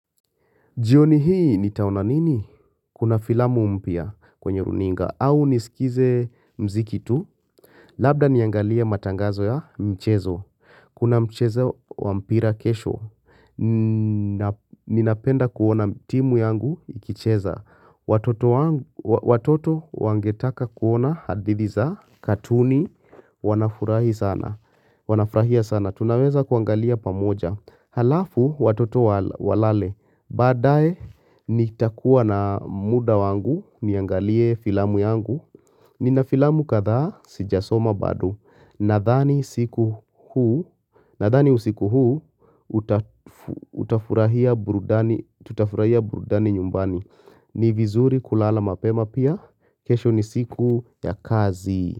Jioni hii nitaona nini? Kuna filamu mpya kwenye runinga au nisikize muziki tu. Labda niangalia matangazo ya mchezo. Kuna mchezo wa mpira kesho. Ninapenda kuona timu yangu ikicheza. Watoto wangetaka kuona hadith iza katuni. Wanafurahia sana. Tunaweza kuangalia pamoja. Halafu watoto walale. Baadae nitakuwa na muda wangu niangalie filamu yangu Nina filamu kadha sijasoma bado Nadhani usiku huu tutafurahia burudani nyumbani ni vizuri kulala mapema pia kesho ni siku ya kazi.